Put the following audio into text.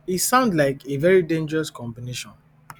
e sound like a very dangerous combination